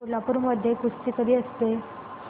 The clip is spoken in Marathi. कोल्हापूर मध्ये कुस्ती कधी असते